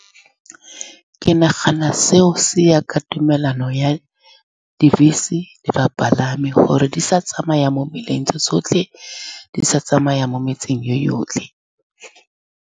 Ke nagana seo se ya ka tumelano ya dibese le bapalami, gore di sa tsamaya mo mmileng tse tsotlhe, di sa tsamaya mo metseng e yotlhe.